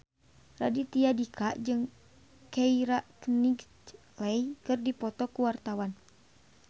Raditya Dika jeung Keira Knightley keur dipoto ku wartawan